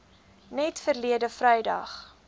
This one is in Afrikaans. net verlede vrydag